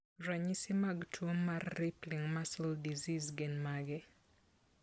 Ranyisi mag tuwo mar Rippling muscle disease gin mage?